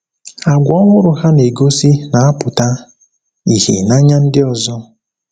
Àgwà ọhụrụ ha na-egosi na-apụta ìhè n’anya ndị ọzọ.